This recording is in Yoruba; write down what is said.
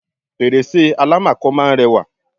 fèrèsé àlámakò máà ń rẹwà